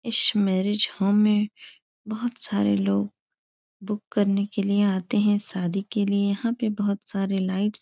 इस marriage home में बहुत सारे लोग बुक करने के लिए आते हैं साड़ी के लिए यहाँ पे बहुत सारे लाइट्स --